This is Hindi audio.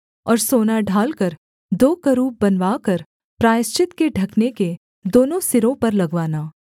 और सोना ढालकर दो करूब बनवाकर प्रायश्चित के ढकने के दोनों सिरों पर लगवाना